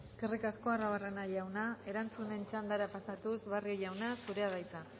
eskerrik asko arruabarrena jauna erantzunen txandara pasatuz barrio jauna zurea da hitza